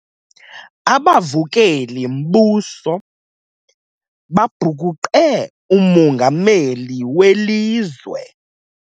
Abavukeli-mbuso babhukuqe umongameli welizwe.